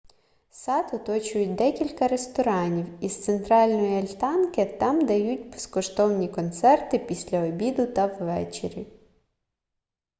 сад оточують декілька ресторанів і з центральної альтанки там дають безкоштовні концерти після обіду та ввечері